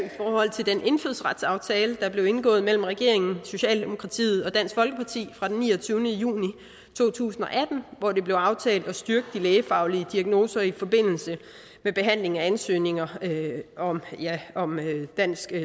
til den indfødsretsaftale der blev indgået mellem regeringen socialdemokratiet og dansk folkeparti fra den niogtyvende juni to tusind og atten hvor det blev aftalt at styrke de lægefaglige diagnoser i forbindelse med behandling af ansøgninger om dansk